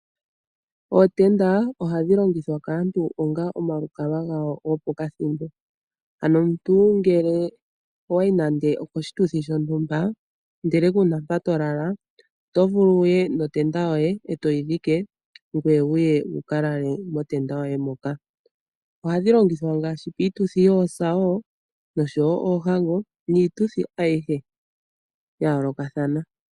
Ootenda ohadhi longithwa kaantu onga omalukalwa gawo gopakathimbo. Ano omuntu ngele owayi nande oposhituthi shontumba ndele kuna mpa tolala oto vulu wuye notenda yoye etoyi dhike ngoye wuye wukalale motenda yoye moka. Ohadhi longithwa miitudhi ngaashi yoosa, yoohango noshowo iituthi ayihe yayoolokathana.